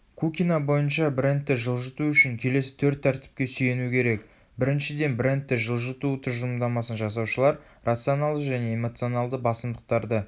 кукина бойынша брендті жылжыту үшін келесі төрт тәртіпке сүйену керек біріншіден брендті жылыту тұжырымдамасын жасаушылар рационалды және эмоционалды басымдықтарды